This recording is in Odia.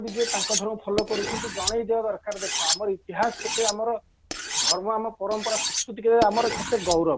ଯିଏ ତାଙ୍କ ଧର୍ମ fallow କରୁ କିନ୍ତୁ ଜଣେଇ ଦେବା ଦରକାର ଦେଖା ଆମର ଇତିହାସ କେତେ ଆମର ଧର୍ମ ଆମର ପରମ୍ପରା ସଂସ୍କୃତି ଆମର କେତେ ଗୌରବ